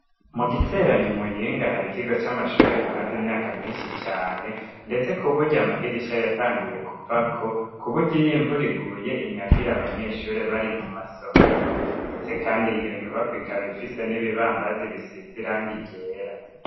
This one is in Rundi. Mu giteranyi imuyinga hari ikigo c'amashuri kimaze imyaka myinshi cane ndetse kuburyo amadirishya yatanguye kuvako kuburyo y iy'imvura iguye inyagira abanyeshure bari mu masomero ndetse kandi iyo nyubako ikaba ifise n'ibibambazi bisizirangi ryera.